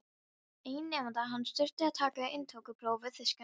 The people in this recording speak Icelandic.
Einn nemandi hans þurfti að taka inntökupróf við þýskan háskóla.